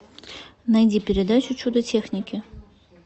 найди передачу чудо техники